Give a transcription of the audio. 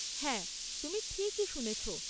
হ্যাঁ, তুমি ঠিকই শুনেছ।